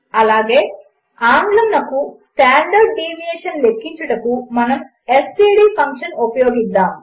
అలాగే ఆంగ్లమునకు standard deviation లెక్కించుటకు మనము ఎస్టీడీ ఫంక్షన్ ఉపయోగించుతాము